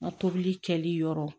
N ka tobili kɛli yɔrɔ